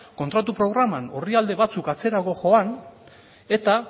kontratu programan orrialde batzuk atzerago joan eta